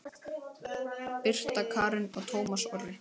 Birta Karen og Tómas Orri.